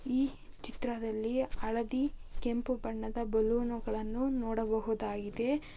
ಈ ಚಿತ್ರದಲ್ಲಿ ಅಳದಿ ಕೆಂಪು ಬಣ್ಣದ ಬಲೂನುಗಳನ್ನು ನೋಡಬಹುದಾಗಿದೆ.